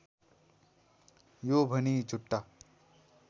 यो भनी झुट्टा